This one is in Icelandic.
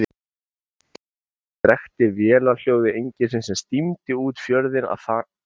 Niður fossins drekkti vélarhljóði engilsins sem stímdi út fjörðinn að baki þeim.